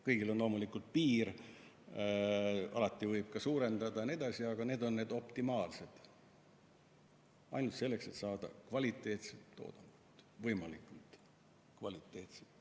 Kõigel on loomulikult piir, alati võib puuri suurendada ja nii edasi, aga need on optimaalsed tingimused, et saada kvaliteetset toodangut – võimalikult kvaliteetset.